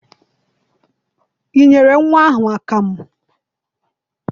I nyere nnwa ahụ akamụ?